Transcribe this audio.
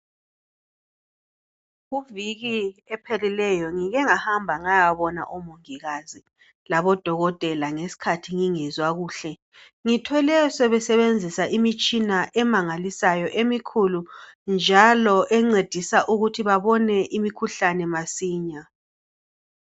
Kuviki ephelileyo ngike ngahamba ngayabona omongikazi labodokotela ngasikhathi ngingezwa kuhle ngithole sebenzisa imitshina emangalisayobemikhulu njalo encedisa ukuthi babone imikhuhlane masinya.